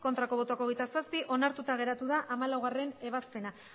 bai hogeita zazpi ez onartuta geratu da hamalaugarrena ebazpena